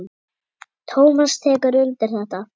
Tómas tekur undir þetta.